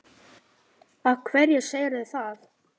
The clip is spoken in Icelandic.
Af hverju segirðu það?